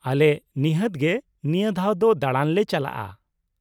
ᱟᱞᱮ ᱱᱤᱷᱟᱹᱛ ᱜᱮ ᱱᱤᱭᱟᱹ ᱫᱷᱟᱣ ᱫᱚ ᱫᱟᱬᱟᱱ ᱞᱮ ᱪᱟᱞᱟᱜᱼᱟ ᱾